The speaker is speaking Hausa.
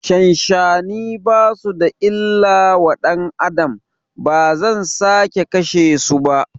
Shanshani basu da illa wa ƴan Adam, bazan sake kashe su ba